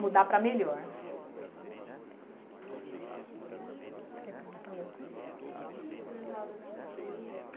Mudar para melhor. Você quer perguntar alguma coisa? Eu ia falar da sua sobrinha.